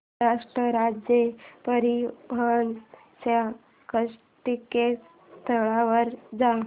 महाराष्ट्र राज्य परिवहन च्या संकेतस्थळावर जा